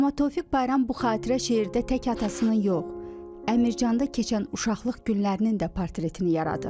Amma Tofiq Bayram bu xatirə şeirdə tək atasının yox, Əmircanda keçən uşaqlıq günlərinin də portretini yaradır.